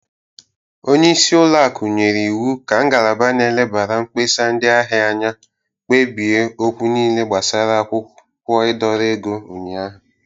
Onyeisi ụlọakụ nyere iwu ka ngalaba n'elebara mkpesa ndị ahia anya kpebie okwu niile gbasara akwụkwọ ịdọrọ ego ụnyaahụ.